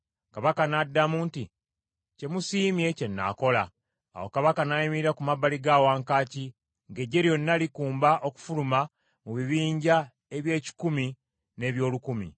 Kabaka n’addamu nti, “Kye musiimye kye nnaakola.” Awo kabaka n’ayimirira ku mabbali ga wankaaki, ng’eggye lyonna likumba okufuluma mu bibinja eby’ekikumi n’eby’olukumi.